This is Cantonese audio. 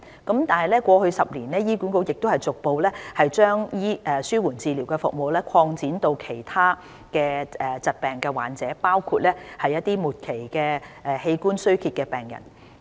然而，過去10年，醫管局已逐步把紓緩治療服務擴展至其他疾病患者，包括末期器官衰竭的病人。